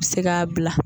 Se k'a bila